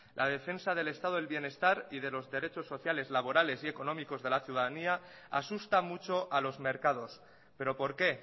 la defensa del estado del bienestar y de los derechos sociales laborales y económicos de la ciudadanía asusta mucho a los mercados pero por qué